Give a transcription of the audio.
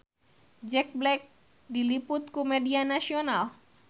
Jack Black diliput ku media nasional